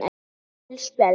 Gul spjöld